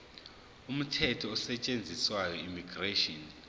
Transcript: umthetho osetshenziswayo immigration